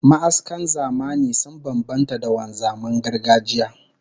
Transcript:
Ma'askan zamani sun bambanta da wanzaman gargajiya